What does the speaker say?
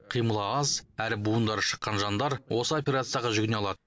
қимылы аз әрі буындары шыққан жандар осы операцияға жүгіне алады